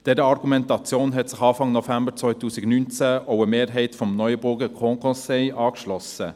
Dieser Argumentation hat sich Anfang November 2019 auch eine Mehrheit des Neuenburger Grand Conseils angeschlossen.